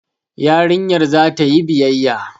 Yarinyar za ta yi biyayya